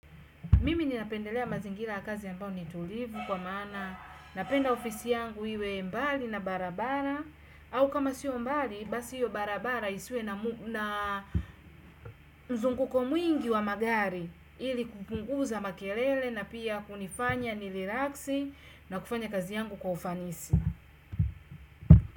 Mimi ninapendelea mazingira ya kazi ambayo ni tulivu kwa maana, napenda ofisi yangu iwe mbali na barabara, au kama sio mbali basi hiyo barabara isiwe na mzunguko mwingi wa magari ili kupunguza makelele na pia kunifanya nirilaksi na kufanya kazi yangu kwa ufanisi.